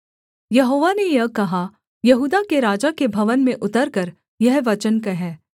यहोवा ने यह कहा यहूदा के राजा के भवन में उतरकर यह वचन कह